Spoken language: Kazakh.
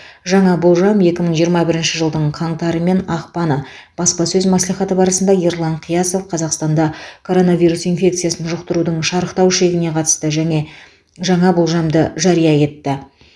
жаңа болжам екі мың жиырма бірінші жылдың қаңтары мен ақпаны баспасөз мәслихаты барысында ерлан қиясов қазақстанда коронавирус инфекциясын жұқтырудың шарықтау шегіне қатысты және жаңа болжамды жария етті